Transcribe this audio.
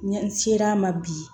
N ser'a ma bi